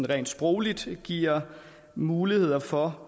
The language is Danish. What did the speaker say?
rent sprogligt giver mulighed for